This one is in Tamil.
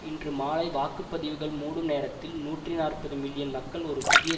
இன்று மாலை வாக்கு பதிவுகள் மூடும் நேரத்தில் நூற்றி நாற்பது மில்லியன் மக்கள் ஒரு புதிய